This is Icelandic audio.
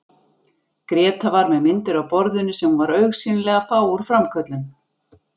Gréta var með myndir á borðinu sem hún var augsýnilega að fá úr framköllun.